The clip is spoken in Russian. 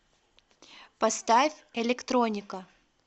поставь электроника